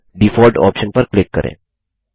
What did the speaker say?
अब default option पर click करें